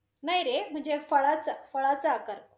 नाही रे, म्हणजे फळाच, फळाचा आकार?